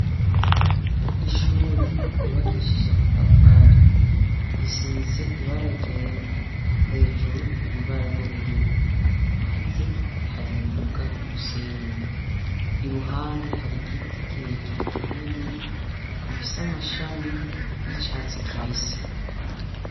Ishure ryubakishije amatafari risize ibara ryera hejuru hari ibara ry'ubururu hanze hari imbuga y'umusenyi iruhande hari igiti kirekire kinini ifise amashami y'icatsi kibisi.